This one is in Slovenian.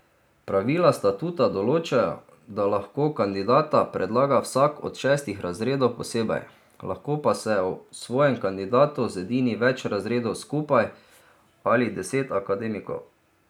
Pravila statuta določajo, da lahko kandidata predlaga vsak od šestih razredov posebej, lahko pa se o svojem kandidatu zedini več razredov skupaj ali deset akademikov.